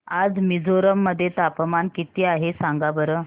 आज मिझोरम मध्ये तापमान किती आहे सांगा बरं